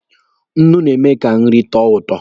Nnu na-eme ka nri tọọ ụtọ.